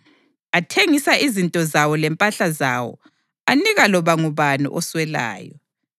Athengisa izinto zawo lempahla zawo anika loba ngubani oswelayo.